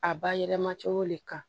A ba yɛlɛma cogo le kan